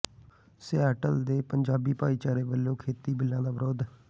Seattle ਦੇ ਪੰਜਾਬੀ ਭਾਈਚਾਰੇ ਵੱਲੋਂ ਖੇਤੀ ਬਿੱਲਾਂ ਦਾ ਵਿਰੋਧ